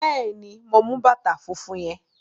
Bẹ́ẹ̀ ni, mo mú bàtà fúnfún yẹn.